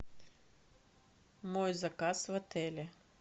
мой заказ в отеле